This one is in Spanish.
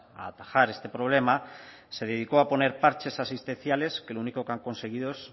a atajar este problema se dedicó a poner parches asistenciales que lo único que han conseguido es